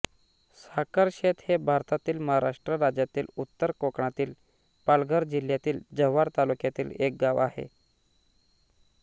साखरशेत हे भारतातील महाराष्ट्र राज्यातील उत्तर कोकणातील पालघर जिल्ह्यातील जव्हार तालुक्यातील एक गाव आहे